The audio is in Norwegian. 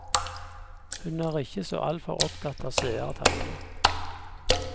Hun er ikke så altfor opptatt av seertallene.